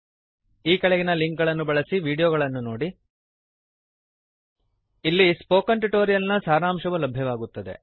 ಈ ಕೆಳಗಿನ ಲಿಂಕ್ ಗಳನ್ನು ಬಳಸಿ ವೀಡಿಯೋಗಳನ್ನು ನೋಡಿ ಅಲ್ಲಿ ಸ್ಪೋಕನ್ ಟ್ಯುಟೋರಿಯಲ್ ನ ಸಾರಾಂಶವು ಲಭ್ಯವಾಗುತ್ತದೆ